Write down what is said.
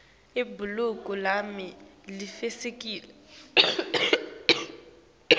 libhuluko lami livitsikile